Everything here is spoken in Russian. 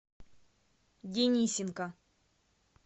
денисенко